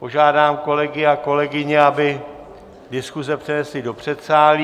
Požádám kolegyně a kolegy, aby diskuze přenesli do předsálí.